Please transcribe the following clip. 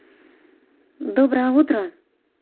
доброе утро